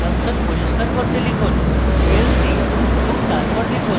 console পরিস্কার করতে লিখুন clc এবং তারপর লিখুন: